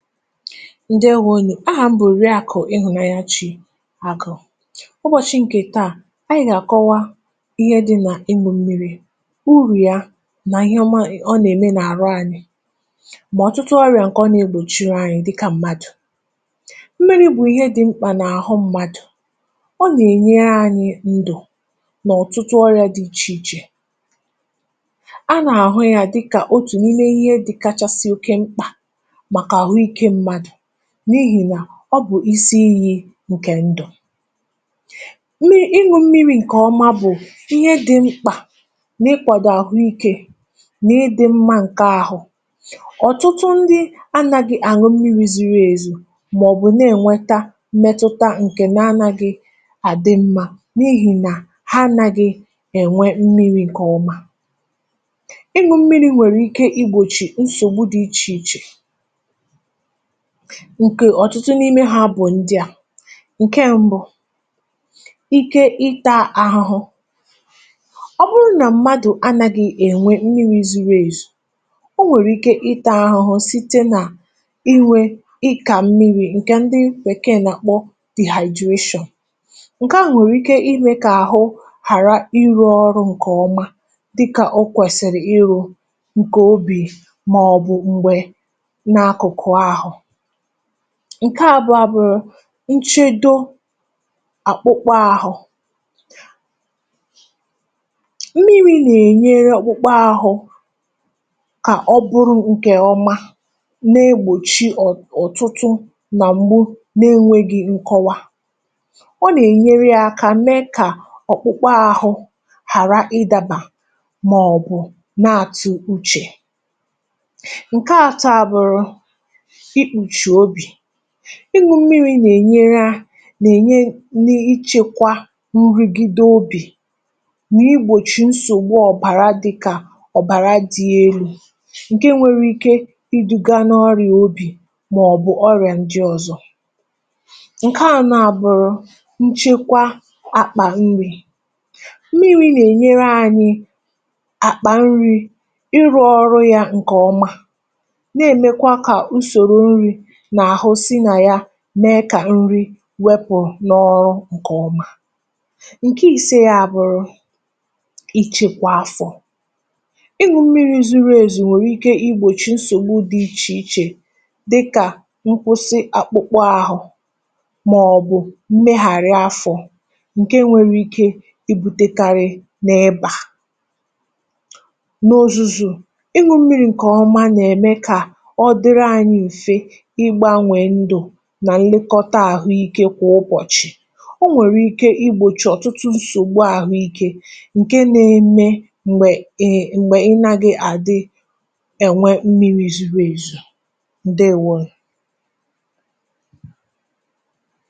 Ndeewonu! Ahà m bụ̀ oriakụ ịhụ̀nanyachi Agụ. Ụbọ̀shị ǹkè taà, ányị̀ gà-àkọwa ihe dị̇ nà ịmụ̇ na ịṅụ mmiri, urù ya nà ihe ọma nà-ème nà-àhụ anyị ma ọtụtụ ọrịa nke ọ nȧ-egbòchiri anyị dịka mmadụ. Mmiri bụ ihé dị oké mkpa n'ahụ mmadụ. Ọ nà-ènyére anyị ndụ n'ọ̀tụtụ ọrị̀à dị ichè ichè. A nà-àhụ ya dịkà otù n’ime ihe dịkachasị oke mkpà maka ahụike mmadụ n’ihi nà ọ bụ̀ isi iyí ǹkè ndụ. ịṅụ mmiri ǹkè ọma bụ̀ ihe dị mkpà n’ịkwàdò àhụikė nà ịdị̇mmȧ ǹke ahụ. Ọtụtụ ndị anagị àṅụ mmiri ziri èzi màọ̀bụ̀ na-enweta mmetụta ǹa na-gị àdị mmȧ n’ihi nà ha anaghị ènwe mmiri ǹkè ọma. Ịṅụ mmiri nwèrè ike igbòchi nsògbu dị ichè ichè, ǹkè ọ̀tụtụ n’imė ha bụ̀ ndị à: Nkè mbụ, ike ita aghụghụ. Ọ bụrụ nà mmadụ̀ anȧghị̇ ènwe mmiri̇ zuru ezu, o nwèrè ike itȧ aghụghụ site nà inwé ịkà mmiri, ǹkè ndị bèkeè nà-àkpọ dehydration. Nkè a nwèrè ike ime kà àhụ ghàra ịrụ ọrụ̇ǹkè ọma dịkà o kwèsìrì ịrụ̇ǹkè obì mà ọ̀ bụ̀ m̀gbè ǹa akụkụ ahụ. Nkè abụọ a bụrụ nchedo àkpụkpọ ahụ. Mmiri nà-ènyere akpụkpọ ahụ, kà ọ bụrụ ǹkè ọma na-egbòchi ọ̀ọ̀tụtụ nà m̀gbú na enwegị nkọwa. Ọ nà-ènyere yȧ akà mee kà ọkpụkpọ ȧhụ ghàra ịdȧbà mà ọ̀ bụ̀ na-àtụ́uchè. Nke àtọ a bụrụ ikpuchi obi. ịṅụ mmiri nà-ènyere um nà-ènye n’ichekwa nrigide obì nà igbòchi nsògbu ọ̀bàra dịkà ọ̀bàra dị ele, ǹke nwere ike iduga n’ọrịà obì màọbụ̀ ọrịà ndị ọ̀zọ̀. Nke ànọ à bụrụ nchekwa àkpà nri. Mmiri nà-ènyere ànyị àkpà nri ịrụ ọrụ ya ǹkè ọma, na-emekwa ka usoro nri n'ahụ si na ya mee kà nri wepụ̀ n’ọrụ ǹkè ọma. Nke ise ya a bụrụ ichekwȧ áfọ.́ ịṅụ mmiri zuru ézù nwèrè ike igbòchì nsògbu dị ichè ichè dịkà nkwụsị akpụkpọ ahụ̀ màọ̀bụ̀ ḿméghàrị́ afọ ǹke nwere ike ibutekarị n’ịbà. N’ozuzu, ịṅụ mmiri ǹkè ọma nà-ème kà ọ dịrị anyị mfe Ịgba we ndụ nà nlekọta ahụike kwà ụbọ̀chị̀. O nwèrè ike igbòchi ọ̀tụtụ ǹsògbú àhụike ǹke na-eme m̀gbè um m̀gbè ị nàgị̀ àdị e nwe mmiri zuru ezu. Ndeèwoonu!